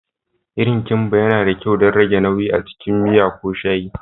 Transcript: Irin kimba yana da kyau don rage nauyi a cikin miya ko shayi.